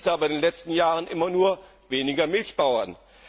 Das hieß aber in den letzten Jahren immer nur weniger Milchbauern.